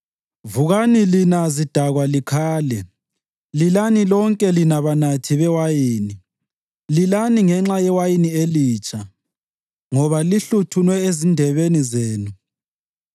Vukani lina zidakwa likhale! Lilani lonke lina banathi bewayini; lilani ngenxa yewayini elitsha, ngoba lihluthunwe ezindebeni zenu.